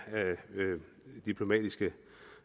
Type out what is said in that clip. diplomatiske